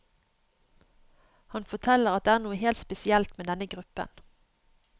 Han forteller at det er noe helt spesielt med denne gruppen.